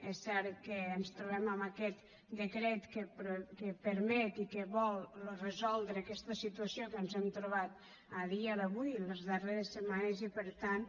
és cert que ens trobem amb aquest decret que permet i que vol resoldre aquesta situació que ens hem trobat a dia d’avui a les darreres setmanes i per tant